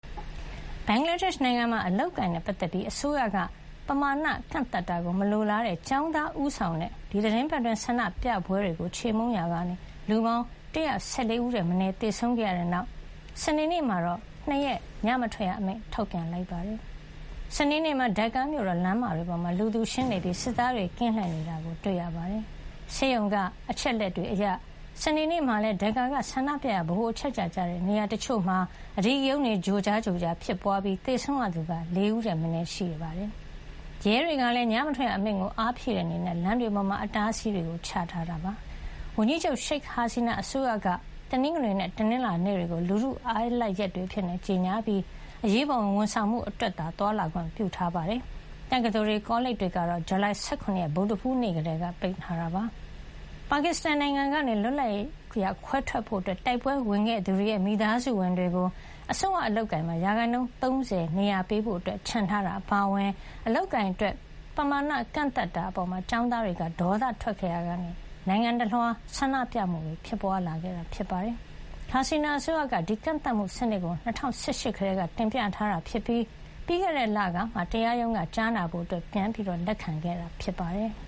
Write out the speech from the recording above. ဘင်္ဂလားဒေ့ရှ် နိုင်ငံမှာ အလုပ်အကိုင်နဲ့ ပတ်သက်ပြီး အစိုးရက ပမာဏ ကန့်သတ်တာကို မလိုလားတဲ့ ကျောင်းသားဦးဆောင်တဲ့ ဒီသီတင်းပတ်အတွင်း ဆန္ဒပြပွဲတွေကို ခြေမှုန်းရာကနေ လူပေါင်း ၁၁၄ ဦးထက်မနည်း သေဆုံးခဲ့ရတဲ့နောက် စနေနေ့မှာတော့ ၂ ရက် ညမထွက်ရအမိန့် ထုတ်ပြန်လိုက်ပါတယ်။ စနေနေ့မှာ Dhaka မြို့တော် လမ်းမတွေပေါ်မှာ လူသူရှင်းနေပြီး စစ်သားတွေ ကင်းလှည့်နေတာ တွေ့ရပါတယ်။ ဆေးရုံက အချက်လက်တွေအရ စနေနေ့မှာလည်း Dhaka က ဆန္ဒပြရာ ဗဟိုအချက်ချာကျတဲ့ နေရာတချို့မှာ အဓိကရုဏ်းတွေ ကြိုကြား ဖြစ်ပွါးခဲ့ပြီး သေဆုံးရသူက ၄ ဦးထက်မနည်း ရှိနေတာပါ။ ရဲတွေကလည်း ညမထွက်ရအမိန့်ကို အားဖြည့်တဲ့အနေနဲ့ လမ်းမတွေမှာ အတားအဆီးတွေ ချထားပါတယ်။ ဝန်ကြီးချုပ် ရှိတ်ဟာစီနာ အစိုးရက တနင်္ဂနွေနဲ့ တနင်္လာနေ့တွေကို လူထုအားလပ်ရက်တွေအဖြစ် ကြေညာခဲ့ပြီး အရေးပေါ်ဝန်ဆောင်မှု အတွက်သာ သွားလာခွင့်ပြုထားပါတယ်။ တက္ကသိုလ်တွေ ကောလိပ်တွေကတော့ ဇူလိုင် ၁၇ ဗုဒ္ဓဟူးနေ့ ကတည်းက ပိတ်ထားတာပါ။ ပါကစ္စတန်နိုင်ငံကနေ လွတ်လပ်ရေးရ ခွဲထွက်ဖို့ တိုက်ပွဲဝင်ခဲ့သူတွေရဲ့ မိသားစုဝင်တွေကို အစိုးရ အလုပ်အကိုင်မှာ ရာခိုင်နှုန်း ၃၀ နေရာ ပေးဖို့ချန်ထားတာ အပါအဝင် အလုပ်အကိုင်အတွက် ပမာဏ ကန့်သတ်တာအပေါ် ကျောင်းသားတွေက ဒေါသထွက်ခဲ့ရာကနေ နိုင်ငံတလွှား ဆန္ဒပြမှုတွေ ဖြစ်ပွါးလာခဲ့တာဖြစ်ပါတယ်။ ဟာစီနာ အစိုးရက ဒီကန့်သတ်မှုစနစ်ကို ၂၀၁၈ ကတည်းက တင်ပြထားတာဖြစ်ပြီး ပြီးခဲ့တဲ့လကမှ တရားရုံးက ကြားနာဖို့ ပြန်လည် လက်ခံခဲ့တာ ဖြစ်ပါတယ်။